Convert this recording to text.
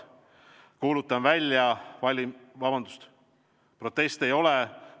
Proteste ei näi olevat.